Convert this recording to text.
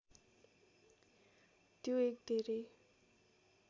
त्यो एक धेरै